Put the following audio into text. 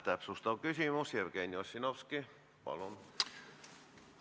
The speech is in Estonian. Täpsustav küsimus, Jevgeni Ossinovski, palun!